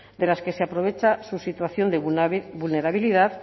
de las que se aprovecha su situación de vulnerabilidad